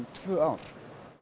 tvö ár